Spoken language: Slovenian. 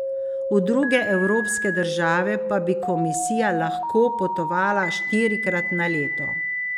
V druge evropske države pa bi komisija lahko potovala štirikrat na leto.